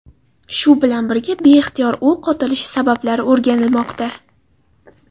Shu bilan birga, beixtiyor o‘q otilishi sabablari o‘rganilmoqda.